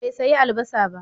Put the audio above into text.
Bai sayi albasa ba.